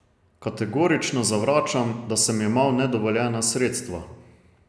Kategorično zavračam, da sem jemal nedovoljena sredstva.